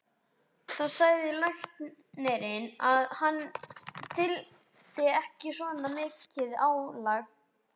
Þá sagði læknirinn að hann þyldi ekki svona mikið álag.